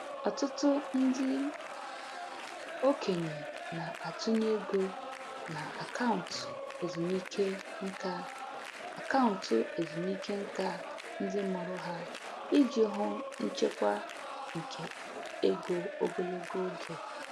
Ọtụtụ ndị okenye na-atụnye ego na akaụntụ ezumike nka akaụntụ ezumike nka ndị mụrụ ha iji hụ nchekwa nke ego ogologo oge.